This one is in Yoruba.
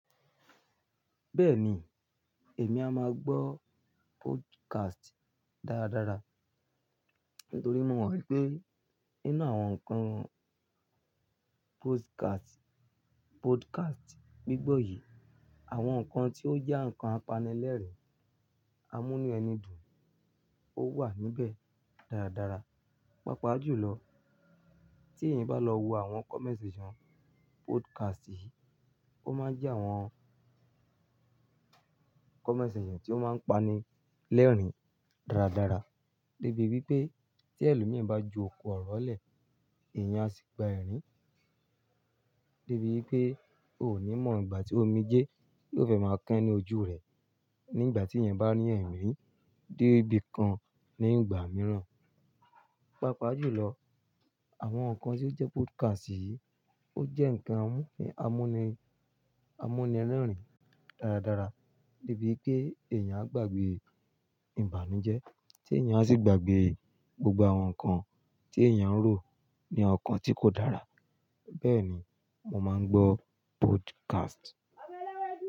Bẹ́ẹ̀ni, èmi a máa gbọ́ podcast dáradára. Nítorí mo wi pé nínú àwọn nǹkan podcast, podcast gbígbọ́ yìí, àwọn nǹkan tí ó jẹ́ ǹkan apanilẹ́rìn-amúnínú ẹni dùn, ó wà níbẹ̀ dáradára. Pápa jùlọ tí ẹ̀yan bá lọ wo àwọn comment section podcast yìí, ó máa ń jẹ́ àwọn comment section tí ó máa ń pani lẹ́rìn dáradára. Débi wípé tí ẹlò míi bá ju ọ̀kọ̀ ọ̀rọ̀ lẹ̀, èèyàn á sì gba ẹ̀rín. Débi wípé o ò ní mọ̀ ìgbà tí omijé yóò fẹ́ máa kán ní ojú rẹ nígbà tí eyan bá rín ẹ̀rín dé ibi kan ní ìgbà mìíràn. Pápa jùlọ àwọn nǹkan tí ó jẹ́ podcast yìí ó jẹ́ ǹkan amúnì, amúnirẹ́rìn dáradára. Débi wípé èèyàn á gbàgbé ìbànújẹ́ tí èèyàn á sì gbàgbé gbogbo àwọn nǹkan tí èèyàn ń rò ní ọkàn tí kò dára. Bẹ́ẹ̀ni, mo máa ń gbọ́ podcast.